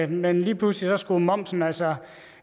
men lige pludselig skulle momsen altså